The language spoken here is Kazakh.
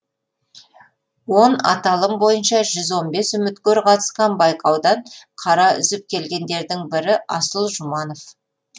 он аталым бойынша жүз он бес үміткер қатысқан байқаудан қара үзіп келгендердің бірі асыл жұманов